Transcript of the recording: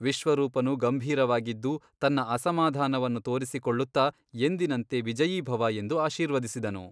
ವಿಶ್ವರೂಪನು ಗಂಭೀರವಾಗಿದ್ದು ತನ್ನ ಅಸಮಾಧಾನವನ್ನು ತೋರಿಸಿಕೊಳ್ಳುತ್ತ ಎಂದಿನಂತೆ ವಿಜಯೀಭವ ಎಂದು ಆಶೀರ್ವದಿಸಿದನು.